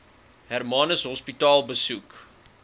hermanus hospitaal besoek